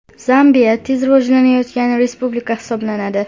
Zambiya tez rivojlanayotgan respublika hisoblanadi.